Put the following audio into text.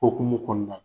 Okumu kɔnɔna la